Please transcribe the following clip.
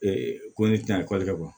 ko ne tɛ ekɔli kɛ